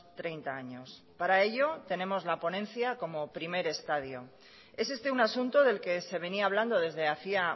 treinta años para ello tenemos la ponencia como primer estadio es este un asunto del que se venía hablando desde hacía